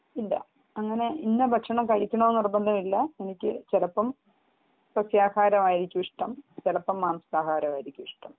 ഇല്ല അങ്ങനെ ഇന്ന ഭക്ഷണം കഴിക്കണം എന്ന് നിർബന്ധമില്ല എനിക്ക് ചിലപ്പോൾ സസ്യാഹാരമായിയിരിക്കും ഇഷ്ടം ചിലപ്പം മാംസാഹാരമായിരിക്കും ഇഷ്ടം